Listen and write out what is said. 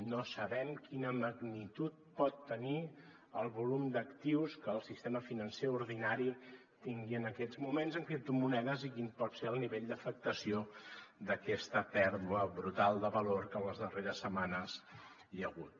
no sabem quina magnitud pot tenir el volum d’actius que el sistema financer ordinari tingui en aquests moments en criptomonedes i quin pot ser el nivell d’afectació d’aquesta pèrdua brutal de valor que en les darreres setmanes hi ha hagut